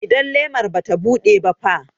Idan lemar bata buɗe ba fa?